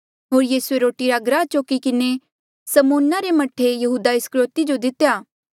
होर यीसूए रोटी रा टुकड़ा डूबाई किन्हें समौना रे मह्ठा यहूदा इस्करयोति जो दितेया